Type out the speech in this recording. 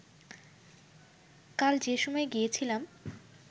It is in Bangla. কাল যে সময় গিয়েছিলাম